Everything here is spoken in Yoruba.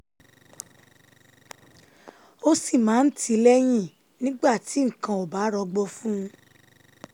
ó sì máa ń tì í lẹ́yìn nígbà tí nǹkan ò bá rọgbọ fún un